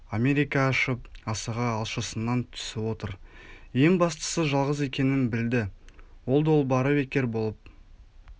америка ашып асығы алшысынан түсіп отыр ең бастысы жалғыз екенін білді ол долбары бекер болып